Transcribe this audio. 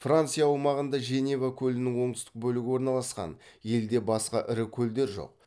франция аумағында женева көлінің оңтүстік бөлігі орналасқан елде басқа ірі көлдер жоқ